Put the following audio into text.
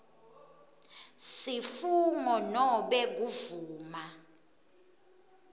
sifungo nobe kuvuma